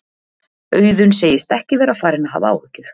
Auðun segist ekki vera farinn að hafa áhyggjur.